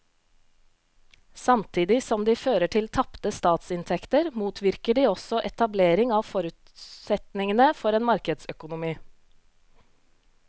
Samtidig som de fører til tapte statsinntekter motvirker de også etablering av forutsetningene for en markedsøkonomi.